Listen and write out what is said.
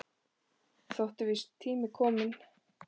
Þótti víst tími til kominn.